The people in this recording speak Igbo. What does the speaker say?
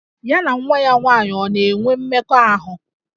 Ya na nwa ya nwaanyị ọ̀ na-enwe mmekọahụ?